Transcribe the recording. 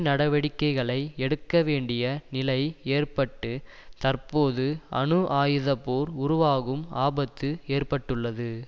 நடவடிக்கைகளை எடுக்கவேண்டிய நிலை ஏற்பட்டு தற்போது அணு ஆயுதப்போர் உருவாகும் ஆபத்து ஏற்பட்டுள்ளது